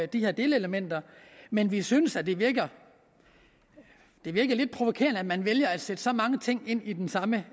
de her delelementer men vi synes at det virker lidt provokerende at man vælger at sætte så mange ting ind i det samme